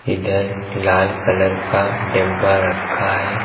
इधर लाल कलर का डिब्बा रखा है।